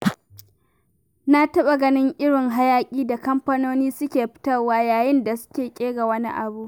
Na taɓa ganin irin hayaƙin da kamfanoni suke fitarwa yayin da suke ƙera wani abu.